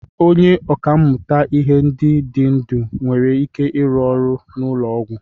Onye ọkà mmụta ihe ndị dị ndụ nwere ike ịrụ ọrụ n'ụlọ ọgwụ?